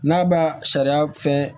N'a b'a sariya fɛ